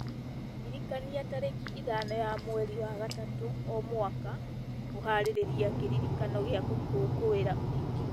ndirikania tarĩki ithano ya mweri wa gatatũ o mwaka kũharĩrĩria kĩririkano gĩa gũkũngũĩra ũhiki